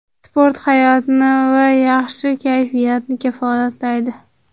Sport hayotni va yaxshi kayfiyatni kafolatlaydi.